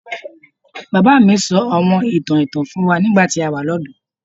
Baba mi sọ awọn itan ẹtan fun wa nigbati a wa ni ọdọ